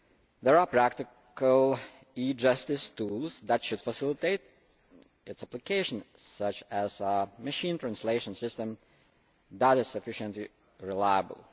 There are practical e Justice tools that should facilitate its application, such as a machine translation system that is sufficiently reliable.